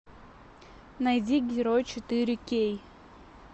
найди герой четыре кей